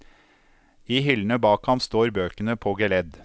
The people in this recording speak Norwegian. I hyllene bak ham står bøkene på geledd.